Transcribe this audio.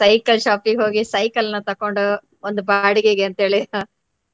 ಮತ್ತೆ cycle shop ಗೆ ಹೋಗಿ ಸೈಕಲ್ ನ ತಕೊಂಡು ಒಂದು ಬಾಡಿಗೆಗೆ ಅಂತ ಹೇಳಿ .